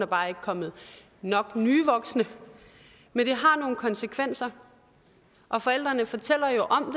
bare ikke kommet nok nye voksne men det har nogle konsekvenser og forældrene fortæller jo om